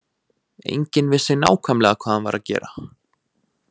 Enginn vissi nákvæmlega hvað hann var að gera.